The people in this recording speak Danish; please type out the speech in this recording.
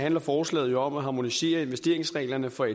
handler forslaget jo om at harmonisere investeringsreglerne for